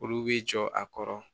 Olu b'i jɔ a kɔrɔ